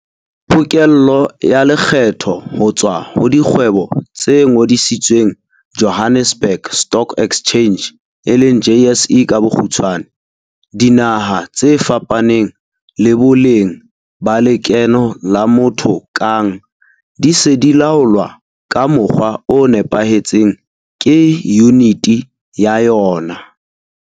Pokello ya lekgetho ho tswa ho dikgwebo tse ngodisitsweng Johannesburg Stock Exchange e leng JSE, dinaha tse fapaneng le boleng ba lekeno la motho kang di se di laolwa ka mokgwa o nepahetseng ke yuniti ya yona.